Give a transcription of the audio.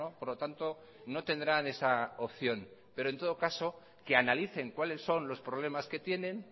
por lo tanto no tendrán esa opción en todo caso que analicen cuáles son los problemas que tienen